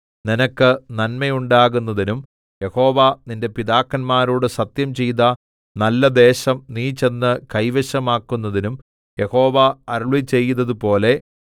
നിനക്ക് നന്മയുണ്ടാകുന്നതിനും യഹോവ നിന്റെ പിതാക്കന്മാരോട് സത്യംചെയ്ത നല്ലദേശം നീ ചെന്ന് കൈവശമാക്കുന്നതിനും യഹോവ അരുളിച്ചെയ്തതുപോലെ